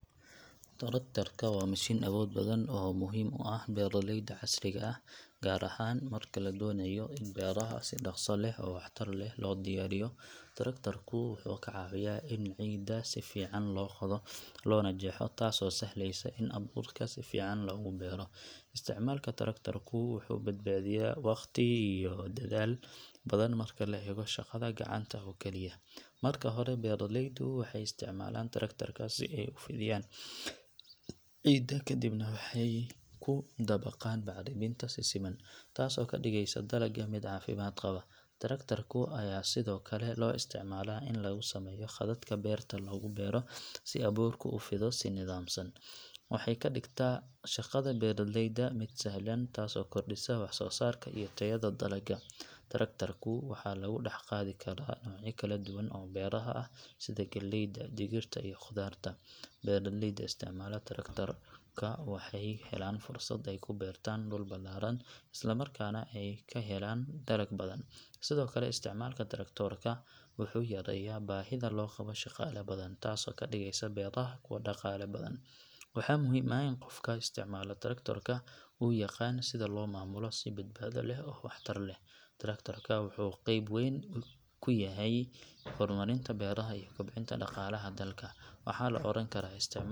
Traktoorka waa mashiin awood badan oo muhiim u ah beeralayda casriga ah, gaar ahaan marka la doonayo in beeraha si dhaqso leh oo waxtar leh loo diyaariyo. Traktoorku wuxuu ka caawiyaa in ciidda si fiican loo qodo loona jeexo, taasoo sahleysa in abuurka si fiican loogu beero. Isticmaalka traktoorka wuxuu badbaadiyaa waqti iyo dadaal badan marka loo eego shaqada gacanta oo keliya. Marka hore, beeralaydu waxay isticmaalaan traktoorka si ay u fidiyaan ciidda, kadibna waxay ku dabaqaan bacriminta si siman, taasoo ka dhigaysa dalagga mid caafimaad qaba. Traktoorka ayaa sidoo kale loo isticmaalaa in lagu sameeyo khadadka beerta lagu beero si abuurku u fido si nidaamsan. Waxay ka dhigtaa shaqada beeralayda mid sahlan, taasoo kordhisa wax soo saarka iyo tayada dalagga. Traktoorka waxaa lagu dhex qaadi karaa noocyo kala duwan oo beeraha ah sida galleyda, digirta, iyo khudaarta. Beeralayda isticmaala traktoorka waxay helaan fursad ay ku beeraan dhul ballaaran isla markaana ay ka helaan dalag badan. Sidoo kale, isticmaalka traktoorka wuxuu yareeyaa baahida loo qabo shaqaale badan, taasoo ka dhigaysa beeraha kuwo dhaqaale badan. Waxaa muhiim ah in qofka isticmaala traktoorka uu yaqaan sida loo maamulo si badbaado leh oo waxtar leh. Traktoorka wuxuu qeyb weyn ka yahay horumarinta beeraha iyo kobcinta dhaqaalaha dalka. Waxaa la oran karaa isticmaalka.